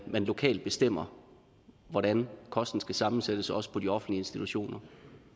man lokalt bestemmer hvordan kosten skal sammensættes også på de offentlige institutioner